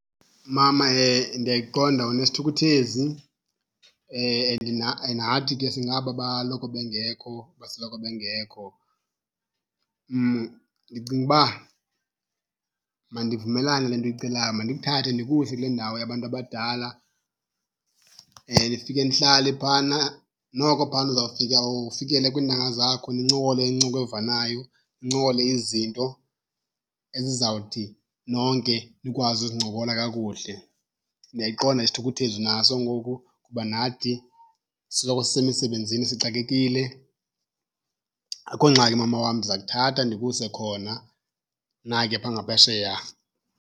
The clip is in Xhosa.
Mama, ndiyayiqonda unesithukuthezi and nathi ke singaba baloko bengekho, basoloko bengekho. Ndicinga uba mandivumelane nale nto uyicelayo, mandikuthathe ndikuse kule ndawo yabantu abadala nifike nihlale phayana. Noko phayana uzawufika ufikele kwiintanga zakho nincokole incoko evanayo, nincokole izinto ezizawuthi nonke nikwazi uzincokola kakuhle. Ndiyayiqonda isithukuthezi unaso ngoku kuba nathi sisoloko sisemisebenzini sixakekile. Akho ngxaki mama wam ndiza kuthatha ndikuse khona, nakuya phaa ngaphesheya.